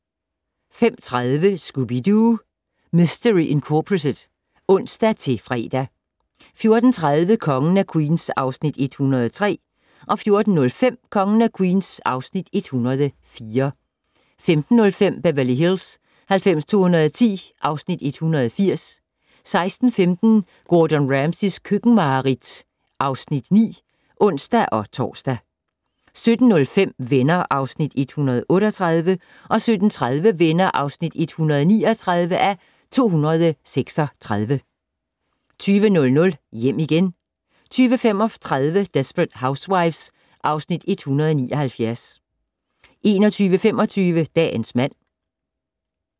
05:30: Scooby-Doo! Mistery Incorporated (ons-fre) 13:40: Kongen af Queens (Afs. 103) 14:05: Kongen af Queens (Afs. 104) 15:05: Beverly Hills 90210 (Afs. 180) 16:15: Gordon Ramsays køkkenmareridt (Afs. 9)(ons-tor) 17:05: Venner (Afs. 138) 17:30: Venner (139:236) 20:00: Hjem igen 20:35: Desperate Housewives (Afs. 179) 21:25: Dagens mand